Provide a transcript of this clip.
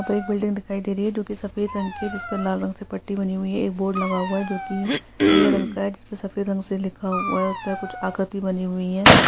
एक बिल्डिंग दिखाई दे रही है जो कि सफ़ेद रंग की है जिस पर लाल रंग की पट्टी बानी हुए है एक बोर्ड लगा हुआ है जो कि नील रंग का है जिस पे सफ़ेद रंग से लिखा हुआ है उसपे कुछ आकृति बनी हुई है।